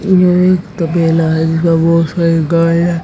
यह एक तबेला है जिसमें बहोत सारी गाय हैं।